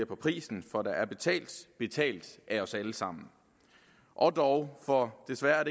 på prisen for der er betalt betalt af os alle sammen og dog for desværre er